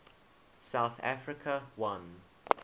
south africa won